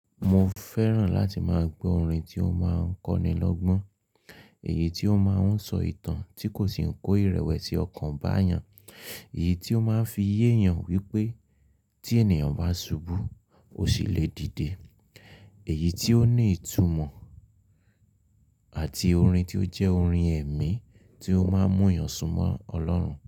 Mo fẹ́ràn láti máa gbọ́ orin tí ó máa ń kọ́ni lọ́gbọ́n, èyí tí ó máa ń sọ ìtàn tí kò sì ń kó ìrẹ̀wẹ̀sì ọkàn bá èèyàn, èyí tí ó máa ń fi yé èèyàn wípé tí ènìyàn bá ṣubú, ó ṣì lè dìde, èyí tí ó ní ìtumọ̀ àti orin tí ó jẹ́ orin ẹ̀mí tí ó máa ń mú èèyàn súnmọ́ Ọlọ́run.